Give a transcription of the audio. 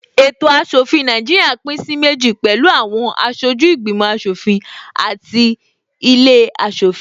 Ètò aṣòfin Nàìjíríà pín sí méjì pẹ̀lú àwọn aṣojú ìgbìmò aṣòfin àti ilé aṣòfin